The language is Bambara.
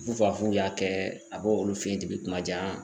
FƐufafu y'a kɛ a b'olu fe yen depi kumajan